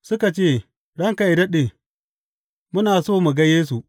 Suka ce, Ranka yă daɗe, muna so mu ga Yesu.